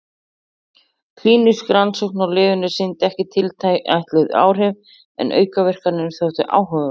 Klínísk rannsókn á lyfinu sýndi ekki tilætluð áhrif en aukaverkanirnar þóttu áhugaverðar.